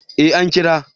Eh an kira